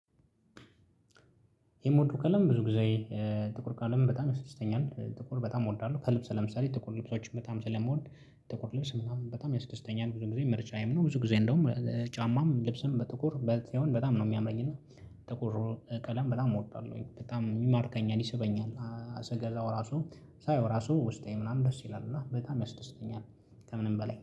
የምወደው ቀለም ብዙ ጊዜ ጥቁር ቀለምን በጣም ያስደስተኛል ጥቁር በጣም እወዳለሁ። ከልብስ ለምሳሌ ጥቁር ልብሶችን በጣም ስለመወድ ጥቁር ልብስ ምናምን በጣም ያስደስተኛል። ብዙ ጊዜ ምርጫዬም ነው። ብዙ ጊዜ እንደውም ጫማም ልብስም በጥቁር ሳሆን በጣም ነው የሚያምረኝ። እና ጥቁር ቀለም በጣም እወዳለሁኝ በጣም የማርከኝ ይስበኛል። አ ስገዛው ራሱ ሳየው ራሱ ውስጤ ምናምን ደስ ይላል እና በጣም ያስደስተኛል። ከምንም በላይ